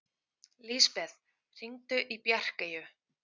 Lisbeth, hringdu í Bjarkeyju.